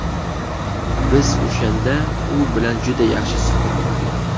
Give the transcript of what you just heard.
Biz o‘shanda u bilan juda yaxshi suhbat qurdik.